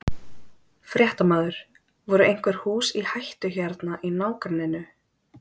Fréttamaður: Voru einhver hús í hættu hérna í nágrenninu?